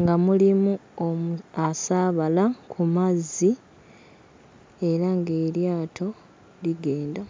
nga mulimu omu... asaabala ku mazzi era ng'eryato ligenda.